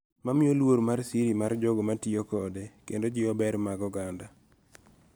Mamiyo luor mar siri mar jogo matiyo kode kendo jiwo ber mag oganda